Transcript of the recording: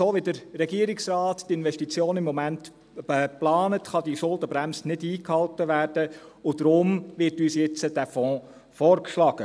So, wie der Regierungsrat die Investitionen im Moment plant, kann diese Schuldenbremse nicht eingehalten werden, und deshalb wird uns nun dieser Fonds vorgeschlagen.